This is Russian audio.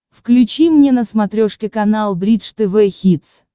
включи мне на смотрешке канал бридж тв хитс